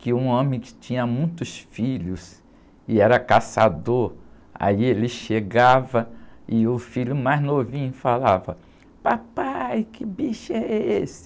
que um homem que tinha muitos filhos e era caçador, aí ele chegava e o filho mais novinho falava, papai, que bicho é esse?